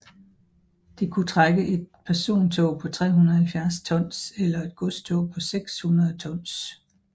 Det kunne trække et persontog på 370 tons eller et godstog på 600 tons